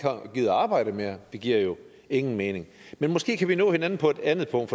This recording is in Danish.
gider at arbejde mere det giver jo ingen mening men måske kan vi nå hinanden på et andet punkt